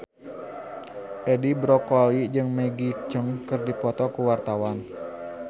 Edi Brokoli jeung Maggie Cheung keur dipoto ku wartawan